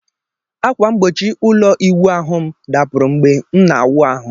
Akwa mgbochi ulo iwu ahu m dapuru mgbe m na awu ahu